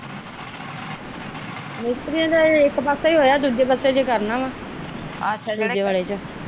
ਮਿਸਤਰੀਆ ਦਾ ਇੱਕ ਪਾਸੇ ਹੋਇਆ ਹਜੇ ਦੂਜੇ ਪਾਸੇ ਕਰਨਾ ਆ ਅੱਛਾ ਵਾਲੇ ਚ।